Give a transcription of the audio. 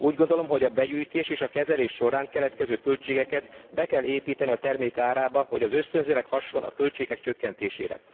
Úgy gondolom, hogy a begyűjtés és a kezelés során keletkező költségeket be kell építeni a termék árába, hogy az ösztönzőleg hasson a költségek csökkentésére.